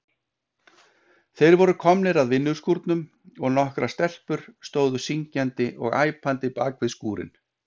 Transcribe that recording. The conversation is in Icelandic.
Þeir voru komnir að vinnuskúrnum og nokkrar stelpur stóðu syngjandi og æpandi bakvið skúrinn.